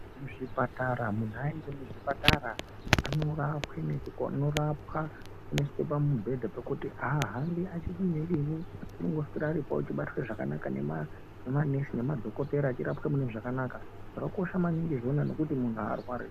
Muzvipatara, munhu aende muzvipatara anorapwe anorapwa, anoiswe pamubhedha pekuti aahambi achidinidini, unongoswera aripo achibatwe zvakanaka nemanesi nemadhokotera, achirapwa mune zvakanaka. Zvakakosha maningi zvona nekuti munhu aarwari.